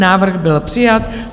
Návrh byl přijat.